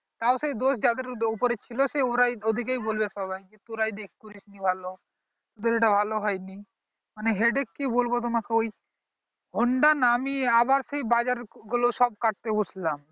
তাও সেই দোষ যাদের উপর ছিল সেই ওরাই ওইদিকে বলবে সবাই যে তোরাই দেখ করিসনি ভালো তোদের ঐটা ভালো হয়ে নি মানে headache কি বলবো তোমাকে ওই honda নামিয়ে আবার সেই বাজার গুলো সব কাটতে বসলাম